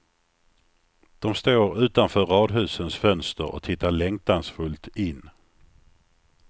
De står utanför radhusens fönster och tittar längtansfullt in.